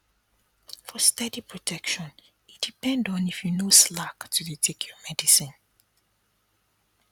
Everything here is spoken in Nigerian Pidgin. for steady protection e depend on if you no slack to dey take your medicine